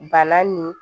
Bana nin